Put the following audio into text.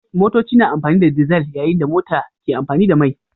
Motoci na amfani da dizal yayin da mota ke amfani da mai